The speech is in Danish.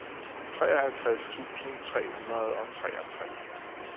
treoghalvtreds tusind tre hundrede og treogtres